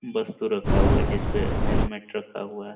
वस्तु रखा हुआ है जिसपे हेलमेट रखा हुआ है।